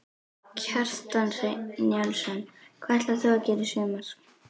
Kjartan Hreinn Njálsson: Hvað ætlar þú að gera í sumar?